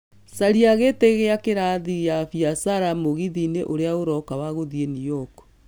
caria gĩtĩ ya kĩrathi ya biacara mũgithi-inĩ ũrĩa ũroka wa gũthiĩ New York